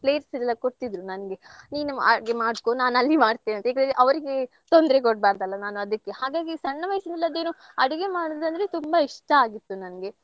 plates ಎಲ್ಲ ಕೊಡ್ತಿದ್ರು ನನ್ಗೆ ನೀನು ಅಡ್ಗೆ ಮಾಡ್ಕೋ ನಾನಲ್ಲಿ ಮಾಡ್ತೇನೆ ಅಂತೇಳಿ. ಅವ್ರಿಗೆ ತೊಂದ್ರೆ ಕೊಡ್ಬಾರ್ದಲ್ಲ ನಾನ್ ಅದಿಕ್ಕೆ ಹಾಗಾಗಿ ಸಣ್ಣ ವಯಸಿನಲ್ಲಿ ಅದೆನೋ ಅಡುಗೆ ಮಾಡೋದಂದ್ರೆ ತುಂಬಾ ಇಷ್ಟ ಆಗಿತ್ತು ನನ್ಗೆ